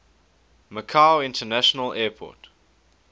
macau international airport